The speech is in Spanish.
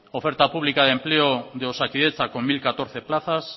oferta pública de empleo de osakidetza con mil catorce plazas